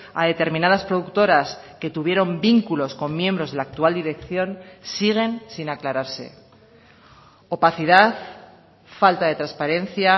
a determinadas productoras que tuvieron vínculos con miembros de la actual dirección siguen sin aclararse opacidad falta de transparencia